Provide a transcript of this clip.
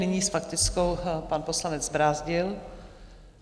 Nyní s faktickou pan poslanec Brázdil.